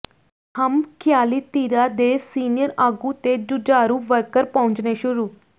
ਹਮਖ਼ਿਆਲੀ ਧਿਰਾਂ ਦੇ ਸੀਨੀਅਰ ਆਗੂ ਤੇ ਜੂਝਾਰੂ ਵਰਕਰ ਪਹੁੰਚਣੇ ਸ਼ੁਰੂ